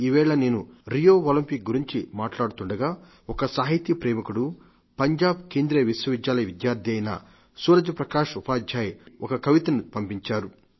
ఇవాళ నేను Rio Olympic గురించి మాట్లాడుతుండగా ఒక సాహితీ ప్రేమికుడు పంజాబ్ కేంద్రీయ విశ్వవిద్యాలయ విద్యార్థి అయిన సూరజ్ ప్రకాశ్ ఉపాధ్యాయ్ ఒక కవితను పంపించారు